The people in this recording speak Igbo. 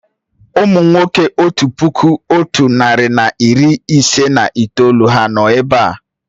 Ụmụ nwoke otu puku otu narị na iri ise na itoolu ha nọ̀ èbé à?